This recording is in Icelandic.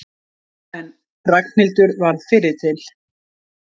En Ragnhildur varð fyrri til.